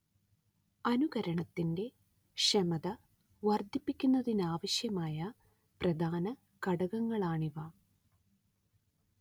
അനുകരണത്തിന്റെ ക്ഷമത വർദ്ധിപ്പിക്കുന്നതിനാവശ്യമായ പ്രധാന ഘടകങ്ങളാണിവ